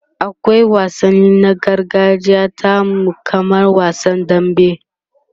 akwai wansanni na gargajiya tamu kamar wasan dambe